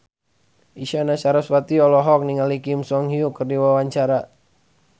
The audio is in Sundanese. Isyana Sarasvati olohok ningali Kim So Hyun keur diwawancara